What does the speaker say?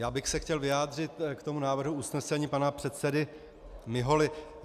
Já bych se chtěl vyjádřit k tomu návrhu usnesení pana předsedy Miholy.